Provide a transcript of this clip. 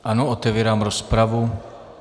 Ano, otevírám rozpravu.